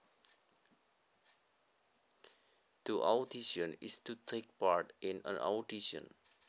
To audition is to take part in an audition